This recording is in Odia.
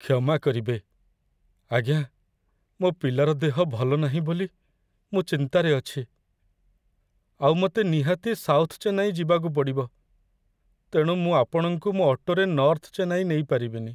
କ୍ଷମା କରିବେ, ଆଜ୍ଞା, ମୋ' ପିଲାର ଦେହ ଭଲ ନାହିଁ ବୋଲି ମୁଁ ଚିନ୍ତାରେ ଅଛି, ଆଉ ମତେ ନିହାତି ସାଉଥ ଚେନ୍ନାଇ ଯିବାକୁ ପଡ଼ିବ, ତେଣୁ ମୁଁ ଆପଣଙ୍କୁ ମୋ' ଅଟୋରେ ନର୍ଥ ଚେନ୍ନାଇ ନେଇପାରିବିନି ।